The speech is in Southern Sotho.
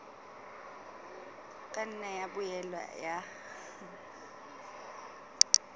ka nna ya boela ya